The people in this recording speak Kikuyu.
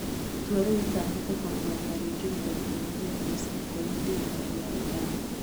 Itua rĩrĩ rĩatanyĩte kũrũgamia rĩingĩrĩro inene rĩa mbeca kũrĩ thirikari ya Iran